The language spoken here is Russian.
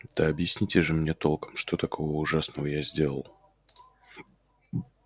да объясните же мне толком что такого ужасного я сделал